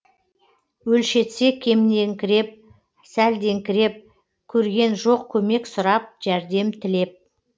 өлшетсе кемнеңкіреп сәлдеңкіреп көрген жоқ көмек сұрап жәрдем тілеп